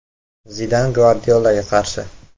Zidan Gvardiolaga qarshi.